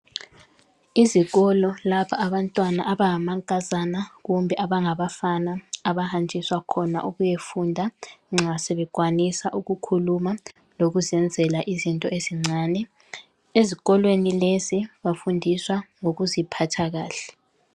Izikolo lapho abantwana abangamankazana kumbe abangabafana abahanjiswa khona ukuyefunda nxa sebekwanisa ukukhuluma lokuzenzela izinto ezincane , ezikolweni lezi bafundiswa ngokuziphatha kahle